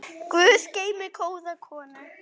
Guð geymi góða konu.